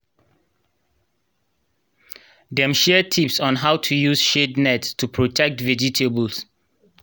dem share tips on how to use shade nets to protect vegetables.